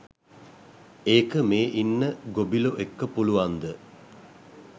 ඒක මේ ඉන්න ගොබිලො එක්ක පුළුවන්ද.